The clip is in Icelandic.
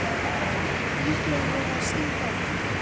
Líklega er verið að stinga út.